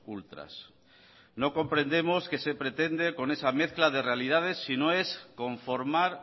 ultras no comprendemos qué se pretende con esa mezcla de realidades si no es conformar